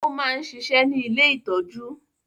ó máa ń ṣiṣẹ́ ní “ ilé ìtọ́jú ”.